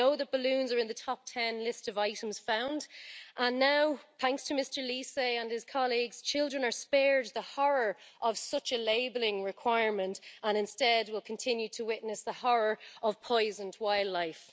We know that balloons are in the top 10 list of items found, and now thanks to Mr Liese and his colleagues children are spared the horror of such a labelling requirement and instead will continue to witness the horror of poisoned wildlife.